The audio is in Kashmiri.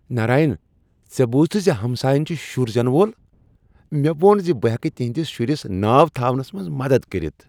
ناراین، ژےٚ بوٗزتھٕ ز ہمساین چھ شر زینہٕ وول؟ تمہ ووٚن ز بہٕ ہٮ۪کہٕ تہنٛدس شرس ناو تھاونس منٛز مدد کٔرتھ۔